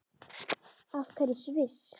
Af hverju Sviss?